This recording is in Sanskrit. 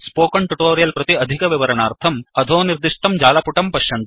स्पोकन् ट्युटोरियल् प्रति अधिकविवरणार्थं अधोनिर्दिष्टे जालपुटं पश्यतु